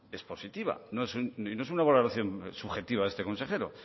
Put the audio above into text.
es positiva no es una valoración subjetiva de este consejero